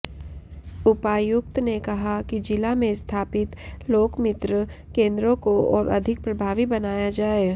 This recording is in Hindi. उपायुक्त ने कहा कि जिला में स्थापित लोकमित्र केंद्रों को और अधिक प्रभावी बनाया जाए